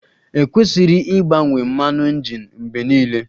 E kwesiri ịgbanwe mmanụ injin mgbe niile.